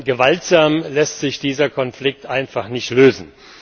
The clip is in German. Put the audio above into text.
Gewaltsam lässt sich dieser Konflikt einfach nicht lösen.